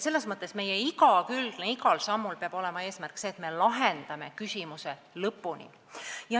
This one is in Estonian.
Selles mõttes peab igal sammul olema see eesmärk, et me lahendame küsimuse lõpuni.